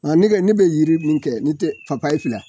Ŋa ne ke ne be yiri min kɛ ne tɛ papaye fila